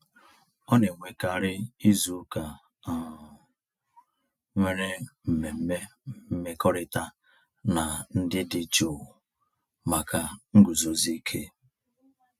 Ọ na-enwekarị izuụka um nwere mmemme mmekọrịta na ndị dị jụụ maka nguzozi ike.